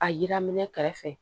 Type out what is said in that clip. A yira minɛ kɛrɛfɛ